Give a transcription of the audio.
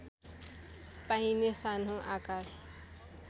पाइने सानो आकार